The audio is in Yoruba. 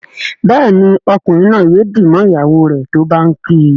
Béèni Ọkunrin naa yóò dì mọ ìyàwó rẹ tó bá ǹ kí.